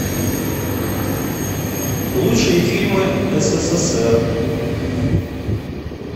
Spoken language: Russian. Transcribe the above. лучшие фильмы ссср